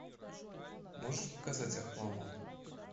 можешь показать охламон